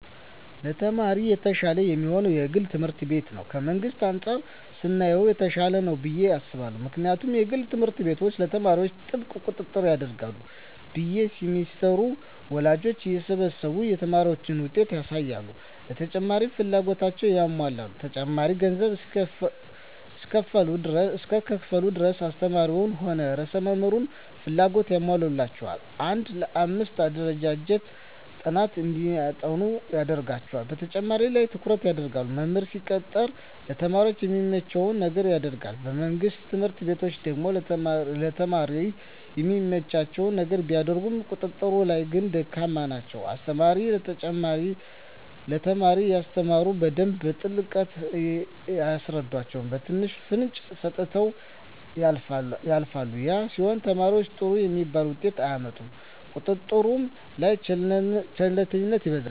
ለተማሪ የተሻለ የሚሆነዉ የግል ትምህርት ቤት ነዉ ከመንግስት አንፃር ስናየዉ የተሻለ ነዉ ብየ አስባለሁ ምክንያቱም የግል ትምህርት ቤት ለተማሪዎች ጥብቅ ቁጥጥር ያደርጋሉ በየ ሴምስተሩ ወላጆችን እየሰበሰቡ የተማሪን ዉጤት ያሳዉቃሉ ለተማሪዎችም ፍላጎታቸዉን ያሟላሉ ተማሪዎች ገንዘብ እስከከፈሉ ድረስ አስተማሪዉም ሆነ ርዕሰ መምህሩ ፍላጎታቸዉን ያሟሉላቸዋል አንድ ለአምስት አደራጅተዉ ጥናት እንዲያጠኑ ያደርጓቸዋል በተማሪዎች ላይ ትኩረት ይደረጋል መምህር ሲቀጠር ለተማሪ የሚመቸዉን ነገር ያደርጋል በመንግስት ትምህርት ቤቶች ደግሞ ለተማሪ የሚመቸዉን ነገር ቢያደርጉም ቁጥጥር ላይ ግን ደካማ ናቸዉ አስተማሪዎች ለተማሪ ሲያስተምሩ በደንብ በጥልቀት አያስረዷቸዉም በትንሹ ፍንጭ ሰጥተዉ ያልፏቸዋል ያ ሲሆን ተማሪዉ ጥሩ የሚባል ዉጤት አያመጣም ቁጥጥር ላይ ቸልተኝነት ይበዛል